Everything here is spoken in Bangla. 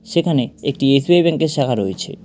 সেখানে একটি এস_বি_আই ব্যাংক -এর শাখা রয়েছে।